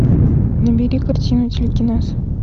набери картину телекинез